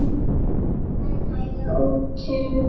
Svenna auga útundan sér.